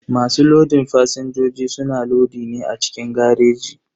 Masu lodin fasinjoji suna lodi ne a cikin gareji.